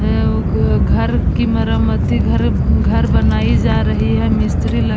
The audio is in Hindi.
अं-उ-ग् घर की मरम्मती घर म्-घर बनाई जा रही है। मिस्त्री ल --